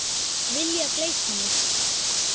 Vilja gleypa mig.